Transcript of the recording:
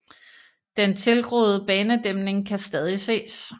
Den tilgroede banedæmning kan stadig ses